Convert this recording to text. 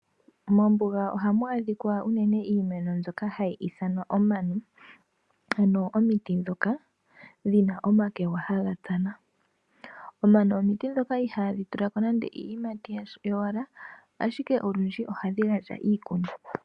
Mombuga ohamu adhika unene iimeno mbyoka hayi ithanwa omano, ano omiti ndhoka dhina omakegwa haga tsana. Omano omiti ndhoka ihaadhi tulako nande iiyimati yowala, ashike olundji ohadhi gandja iikuni.